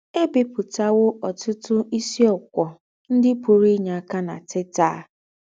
È bìpùtàwò ọ́tùtù ísìókwọ̀ ńdị́ pùrù ínyè ákà ná Teta!